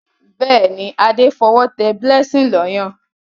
Béèni Ade f'owo té blessing ló Ọyàn.